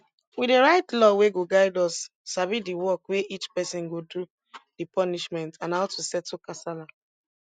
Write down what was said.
we dey write law wey go guide us sabi di work wey each person go do di punishment and how to settle kasala